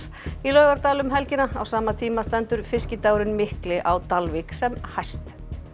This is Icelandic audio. í Laugardal um helgina á sama tíma stendur fiskidagurinn mikli á Dalvík sem hæst